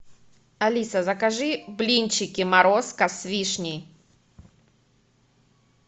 алиса закажи блинчики морозко с вишней